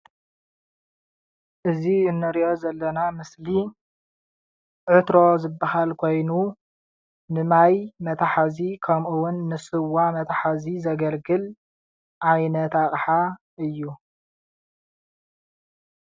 እዚ እንሪኦ ዘለና ምስሊ ዕትሮ ዝብሃል ኮይኑ ንማይ መትሓዚ ከምኡውን ንስዋ መትሓዚ ዘገልግል ዓይነት ኣቕሓ እዩ።